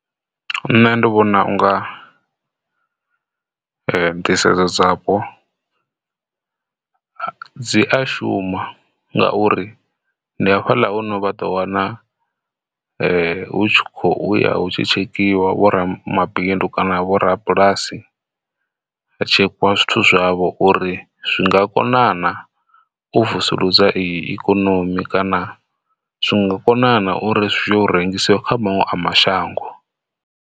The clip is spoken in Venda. Nṋe ndi vhona unga nḓisedzo dzapo dzi a shuma ngauri ndi hafhaḽa hune vha ḓo wana hu tshi khou ya hu tshi tshekhiwa vho ramabindu kana vho rabulasi tsheka zwithu zwavho uri zwi nga konana u vusuludza i ikonomi kana zwinga konana uri zwayo rengisiwa kha maṅwe mashango.